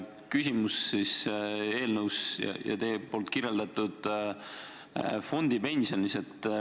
Küsimus on eelnõus ja teie kirjeldatud fondipensionis.